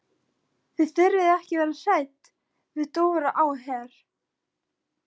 Þið þurfið ekki að vera hrædd við Dóra á Her.